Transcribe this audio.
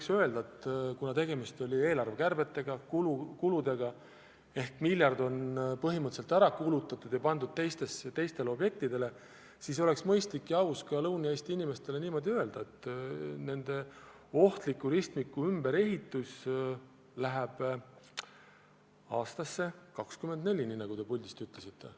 Ja tegelikult, kuna tegemist oli eelarvekärbete ehk kuludega – miljard on ära kulutatud ja pandud teistele objektidele –, siis oleks mõistlik ja aus ka Lõuna-Eesti inimestele öelda, et nende ohtliku ristmiku ümberehitus lükkub aastasse 2024, nagu te puldist ütlesite.